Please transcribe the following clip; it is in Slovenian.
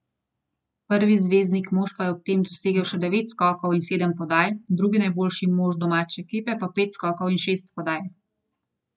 Prvi zvezdnik moštva je ob tem dosegel še devet skokov in sedem podaj, drugi najboljši mož domače ekipa pa pet skokov in šest podaj.